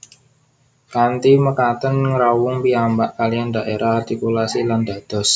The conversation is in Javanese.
Kanthi mekaten nyrawung piyambak kaliyan dhaérah artikulasi lan dados